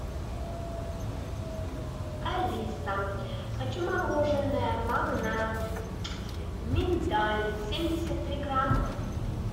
алиса хочу мороженое магнат миндаль семьдесят три грамма